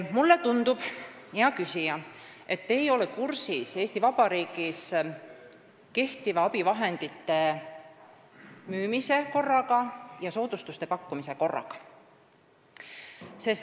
Mulle tundub, hea küsija, et te ei ole kursis Eesti Vabariigis kehtiva abivahendite müümise korraga ja soodustuste pakkumise korraga.